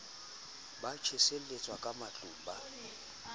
ba tjheseletswa ka matlung ba